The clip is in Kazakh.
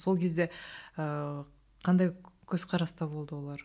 сол кезде ыыы қандай көзқараста болды олар